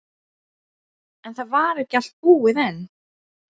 Það er erfitt að koma og dæma hérna.